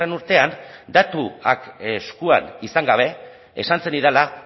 urtean datuak eskuan izan gabe esan zenidala